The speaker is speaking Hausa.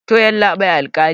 to yallabi alkali